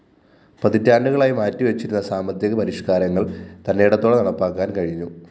പതിറ്റാണ്ടുകളായി മാറ്റിവച്ചിരുന്ന സാമ്പത്തിക പരിഷ്‌കാരങ്ങള്‍ തന്‍േറടത്തോടെ നടപ്പാക്കാന്‍ കഴിഞ്ഞു